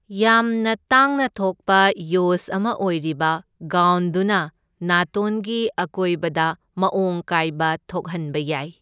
ꯌꯥꯝꯅ ꯇꯥꯡꯅ ꯊꯣꯛꯄ ꯌꯣꯖ ꯑꯃ ꯑꯣꯏꯔꯤꯕ ꯒꯥꯎꯟꯗꯨꯅ ꯅꯥꯇꯣꯟꯒꯤ ꯑꯀꯣꯏꯕꯗ ꯃꯑꯣꯡ ꯀꯥꯏꯕ ꯊꯣꯛꯍꯟꯕ ꯌꯥꯏ꯫